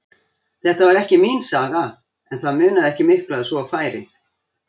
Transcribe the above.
Þetta var ekki mín saga, en það munaði ekki miklu að svo færi.